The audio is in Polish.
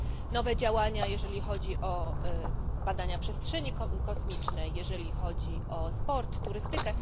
nowe działania, jeżeli chodzi o badanie przestrzeni kosmicznej, jeżeli chodzi o sport, turystykę.